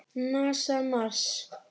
NASA- Mars.